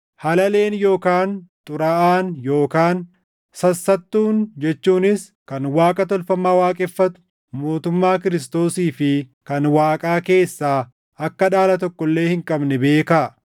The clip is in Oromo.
Halaleen yookaan xuraaʼaan yookaan sassattuun jechuunis kan Waaqa tolfamaa waaqeffatu mootummaa Kiristoosii fi kan Waaqaa keessaa akka dhaala tokko illee hin qabne beekaa.